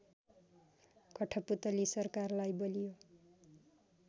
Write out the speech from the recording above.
कठपुतली सरकारलाई बलियो